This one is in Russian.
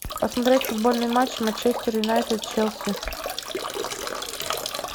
посмотреть футбольный матч манчестер юнайтед челси